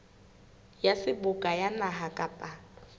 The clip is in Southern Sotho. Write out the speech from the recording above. ya seboka ya naha kapa